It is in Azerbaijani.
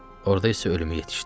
Orda isə ölümü yetişdi.